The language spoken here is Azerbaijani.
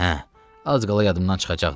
Hə, az qala yadımdan çıxacaqdı.